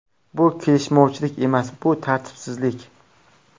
Bu kelishmovchilik emas, bu tartibsizlik.